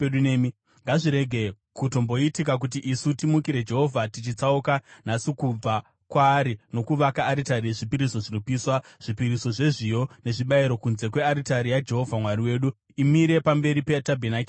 “Ngazvirege kutomboitika kuti isu timukire Jehovha tichitsauka nhasi kubva kwaari nokuvaka aritari yezvipiriso zvinopiswa, zvipiriso zvezviyo, nezvibayiro kunze kwearitari yaJehovha Mwari wedu, imire pamberi petabhenakeri yake.”